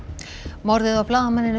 morðið á blaðamanninum